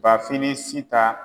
Bafin ni Sita